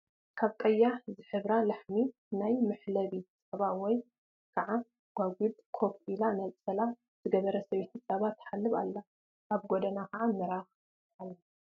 ካብ ቀያሕ ዝሕብራ ላሕሚ ናብ መሕለቢ ፀባ ወይ ከዓ ጓጉድ ኮፍ ኢላ ነፀላ ዝገበረት ሰበይቲ ፀባ ትሓልብ ኣላ፡፡ ኣብ ጎና ከዓ ምራኽኣላ፡፡